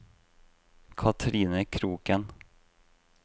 Katrine Kroken